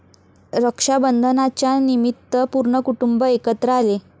रक्षाबंधनाच्यानिमित्त पूर्ण कुटुंब एकत्र आले.